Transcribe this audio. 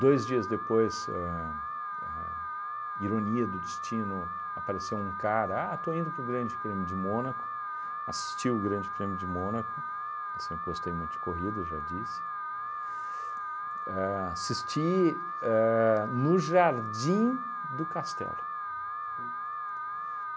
Dois dias depois ahn, a ironia do destino, apareceu um cara, ah, estou indo para o Grande Prêmio de Mônaco, assisti o Grande Prêmio de Mônaco, eu sempre gostei muito de corrida, já disse, a assisti ahn no Jardim do Castelo. Puts.